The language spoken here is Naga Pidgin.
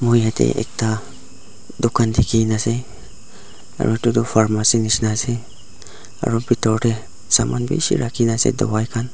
ekta dukan dikhi na ase aru etu tu Pharmacy nisna ase aru bithor teh saman bishi rakhi na ase tawai kan--